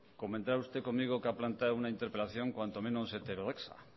comentaba usted conmigo que ha planteado una interpelación cuanto menos heterodoxa